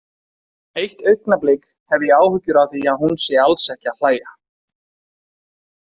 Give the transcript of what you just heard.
Eitt augnablik hef ég áhyggjur af að hún sé alls ekki að hlæja.